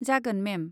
जागोन, मेम।